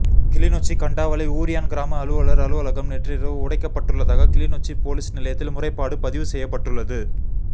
கிளிநொச்சி கண்டாவளை ஊரியான் கிராம அலுவலர் அலுவலகம் நேற்று இரவு உடைக்கப்பட்டுள்ளதாக கிளிநொச்சி பொலிஸ் நிலையத்தில் முறைப்பாடு பதிவு செய்யப்பட்டுள்ளது